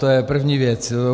To je první věc.